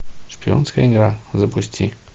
шпионская игра запусти